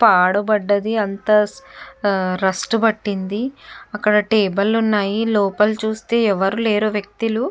పాడు బడింది అక్కడ అంతా రస్ట్ పట్టింది అక్కడ టేబిల్ ఉన్నాయి. లోపల చూస్తే ఎవరు లేరు వ్యక్తులు.